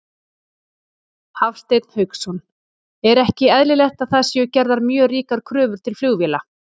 Hafsteinn Hauksson: Er ekki eðlilegt að það séu gerðar mjög ríkar kröfur til flugvéla?